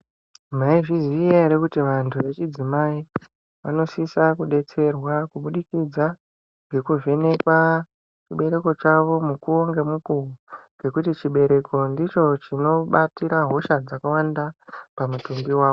Maizviziva here kuti vantu vechidzimai vanosisa kudetserwa kuburikidza ngekuvhenekwa chibereko chawo mukuwo ngemukuwo ngekuti chibereko ndicho chinobatira hosha dzakawanda pamutumbi wawo.